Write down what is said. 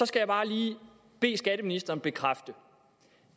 skal jeg bare lige bede skatteministeren bekræfte